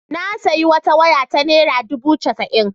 Na sayi wata waya ta naira dubu casa'in.